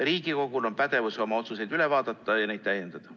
Riigikogul on pädevus oma otsuseid üle vaadata ja neid täiendada.